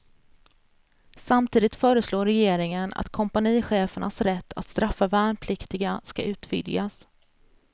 Samtidigt föreslår regeringen att kompanichefernas rätt att straffa värnpliktiga ska utvidgas.